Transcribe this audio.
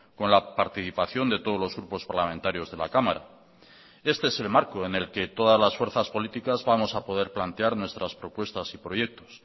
con la participación de todos los grupos parlamentarios de la cámara este es el marco en el que todas las fuerzas políticas vamos a poder plantear nuestras propuestas y proyectos